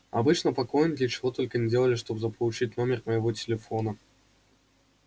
обычно поклонники чего только не делали чтобы заполучить номер моего телефона